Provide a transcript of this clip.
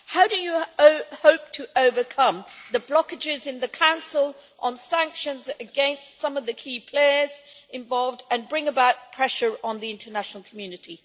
How do you hope to overcome the blockages in the Council on sanctions against some of the key players involved and bring about pressure on the international community?